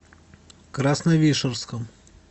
красновишерском